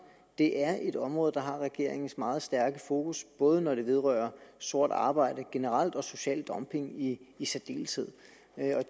det er et område der har regeringens meget stærke fokus både når det vedrører sort arbejde generelt og social dumping i i særdeleshed